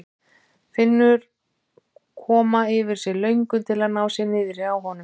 Finnur koma yfir sig löngun til að ná sér niðri á honum.